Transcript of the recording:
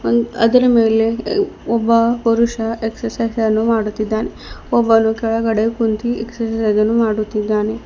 ಅದರ ಮೇಲೆ ಒಬ್ಬ ಪುರುಷ ಎಕ್ಸೈಸ್ಸ್ ಅನ್ನು ಮಾಡುತ್ತಿದ್ದಾನೆ ಒಬ್ಬನು ಕೆಳಗಡೆ ಕುಳಿತು ಎಕ್ಸರ್ಸೈಜ್ ಅನ್ನು ಮಾಡುತ್ತಿದ್ದಾನೆ.